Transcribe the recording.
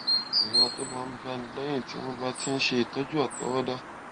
ìrora tó máa ń báni léyìn tí wón bá ti ń ṣe ìtójú àtọwọdá